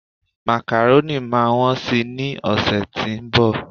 macaroni ma won sì ni ọsẹ ti onbo